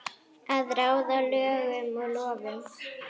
Að ráða lögum og lofum.